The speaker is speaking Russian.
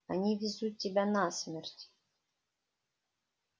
они везут тебя на смерть